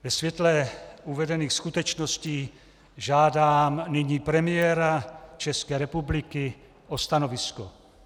Ve světle uvedených skutečností žádám nyní premiéra České republiky o stanovisko.